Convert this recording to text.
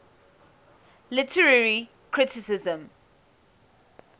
literary criticism